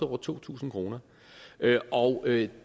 over to tusind kr og det